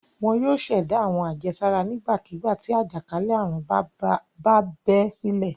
Wọn yóò ṣẹ̀dá àwọn àjẹsára nígbàkigbà tí àjàkálẹ̀ àrùn bá bẹ́ sílẹ̀.